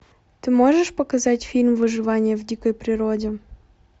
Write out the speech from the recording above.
ты можешь показать фильм выживание в дикой природе